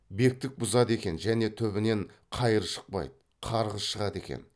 бектік бұзады екен және түбінен қайыр шықпайды қарғыс шығады екен